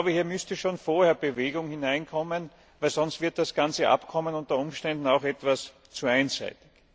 Hier müsste schon vorher Bewegung hineinkommen, denn sonst wird das ganze Abkommen unter Umständen etwas zu einseitig.